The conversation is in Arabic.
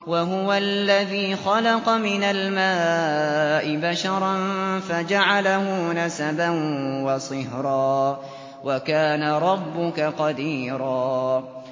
وَهُوَ الَّذِي خَلَقَ مِنَ الْمَاءِ بَشَرًا فَجَعَلَهُ نَسَبًا وَصِهْرًا ۗ وَكَانَ رَبُّكَ قَدِيرًا